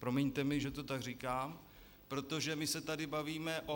Promiňte mi, že to tak říkám, protože my se tady bavíme o -